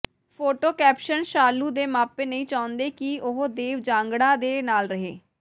photo caption Shalu ਦੇ ਮਾਪੇ ਨਹੀਂ ਚਾਹੁੰਦੇ ਕਿ ਉਹ ਦੇਵ ਜਾਂਗੜਾ ਦੇ ਨਾਲ ਰਹੇ